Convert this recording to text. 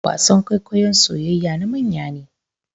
wasan kwaikwayon soyayayya na manya ne